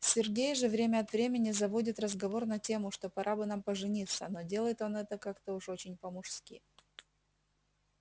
сергей же время от времени заводит разговор на тему что пора бы нам пожениться но делает он это уж как-то очень по-мужски